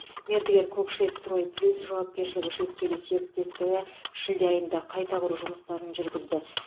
мердігер кокше строй плюс жауапкершілігі шектеулі серіктестігі шілде айында қайта құру жұмыстарын жүргізді